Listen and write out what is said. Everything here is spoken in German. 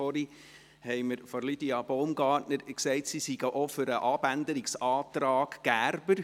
Vorhin hat Lydia Baumgartner gesagt, sie seien auch für den Abänderungsantrag Gerber.